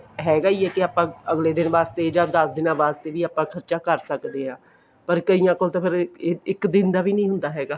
ਹੈਗਾ ਵੀ ਆਪਾਂ ਅਗਲੇ ਦਿਨ ਵਾਸਤੇ ਜਾਂ ਦਸ ਦਿਨਾ ਵਾਸਤੇ ਵੀ ਆਪਾਂ ਖਰਚਾ ਕਰ ਸਕਦੇ ਹਾਂ ਪਰ ਕਈਆਂ ਕੋਲ ਤੇ ਫ਼ੇਰ ਇੱਕ ਦਿਨ ਦਾ ਵੀ ਨੀ ਹੁੰਦਾ ਹੈਗਾ